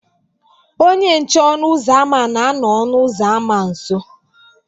Onye nche ọnụ ụzọ ámá na-anọ ọnụ ụzọ ámá nso